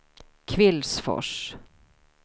Kvillsfors